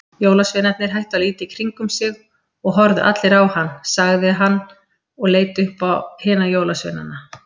Jólasveinarnir hættu að líta í kringum sig og horfðu allir á hann sagði hann og leit upp á hina jólasveinana.